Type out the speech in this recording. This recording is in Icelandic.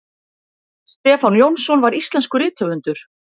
stefán jónsson var íslenskur rithöfundur